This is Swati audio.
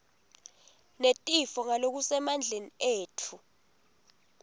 netifo ngalokusemandleni etfu